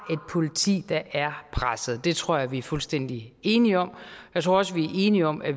politi der er presset det tror jeg vi er fuldstændig enige om jeg tror også vi er enige om at